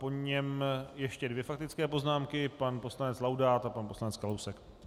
Po něm ještě dvě faktické poznámky, pan poslanec Laudát a pan poslanec Kalousek.